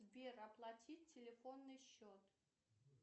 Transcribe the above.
сбер оплатить телефонный счет